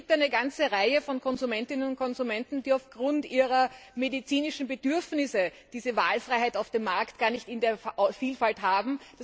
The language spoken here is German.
Aber es gibt eine ganze Reihe von Konsumentinnen und Konsumenten, die aufgrund ihrer medizinischen Bedürfnisse diese Wahlfreiheit auf dem Markt gar nicht in der Vielfalt haben.